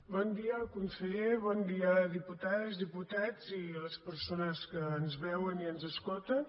bon dia al conseller bon dia a les diputades diputats i a les persones que ens veuen i ens escolten